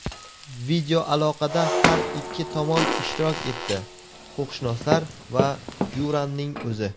Videoaloqada har ikki tomon ishtirok etdi – huquqshunoslar va Yuranning o‘zi.